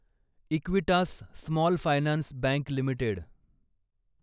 Equitas small finance bank limited